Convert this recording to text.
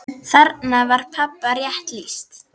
Þarna var pabba rétt lýst.